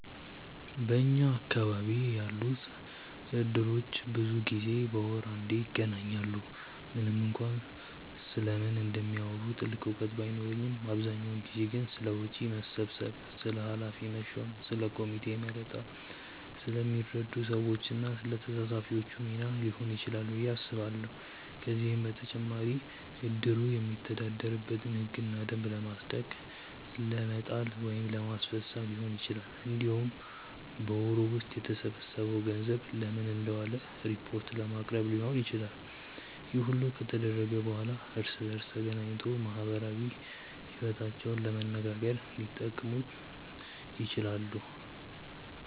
በኛ አካባቢ ያሉት እድሮች ብዙ ጊዜ በወር አንዴ ይገናኛሉ። ምንም እንኳን ስለምን እንደሚያወሩ ጥልቅ እውቀት ባይኖረኝም አብዛኛውን ጊዜ ግን ስለ ወጪ መሰብሰብ፣ ስለ ኃላፊ መሾም፣ ስለ ኮሚቴ መረጣ፣ ስለሚረዱ ሰዎች እና ስለ ተሳታፊዎቹ ሚና ሊሆን ይችላል ብዬ አስባለሁ። ከዚህም በተጨማሪ እድሩ የሚተዳደርበትን ህግና ደንብ ለማጽደቅ ለመጣል ወይም ለማስፈፀም ሊሆን ይችላል። እንዲሁም በወሩ ውስጥ የተሰበሰበው ገንዘብ ለምን እንደዋለ ሪፖርት ለማቅረብ ሊሆንም ይችላል። ይህ ሁሉ ከተደረገ በኋላ እርስ በእርስ ተገናኝቶ ማህበራዊ ይወታቸውንም ለመነጋገር ሊጠቀሙት ይችላሉ።